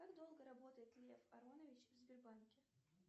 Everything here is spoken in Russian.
как долго работает лев аронович в сбербанке